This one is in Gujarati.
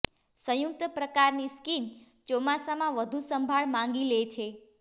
સંયુક્ત પ્રકારની સ્કીન ચોમાસામાં વધું સંભાળ માગી લે છે